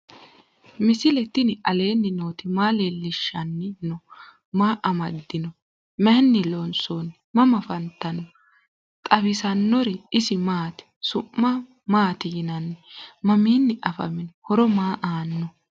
misile tini alenni nooti maa leelishanni noo? maa amadinno? Maayinni loonisoonni? mama affanttanno? xawisanori isi maati? su'ma maati yiinanni? maminni affaminno? horo maa aanno?